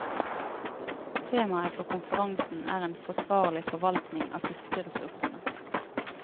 Temaet for konferansen er en forsvarlig forvaltning av fiskeressursene.